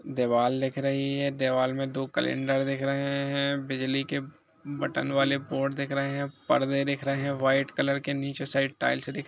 दीवाल दिख रही है दीवाल में दो कैलेंडर दिख रहे है बिजली के बटन बाले बोर्ड दिख रहे है पर्दे दिख रहे है वाइट कलर नीचे शायद टाइल्स दिख --